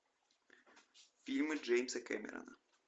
фильмы джеймса кемерона